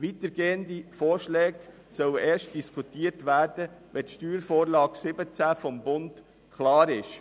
Weitergehende Vorschläge sollen erst diskutiert werden, wenn die SV17 des Bundes definitiv vorliegt.